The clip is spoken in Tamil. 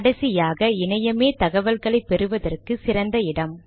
கடைசியாக இணையமே தகவல்களை பெறுவதற்கு சிறந்த இடம்